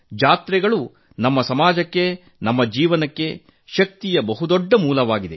ಜಾತ್ರೆಗಳು ನಮ್ಮ ಸಮಾಜಕ್ಕೆನಮ್ಮ ಜೀವನಕ್ಕೆ ಶಕ್ತಿಯ ಬಹು ದೊಡ್ಡ ಮೂಲವಾಗಿದೆ